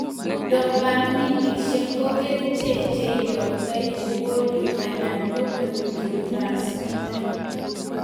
Dopaminishek ko kerichek cheiyoktoi ngolio anan ko neurotransmitter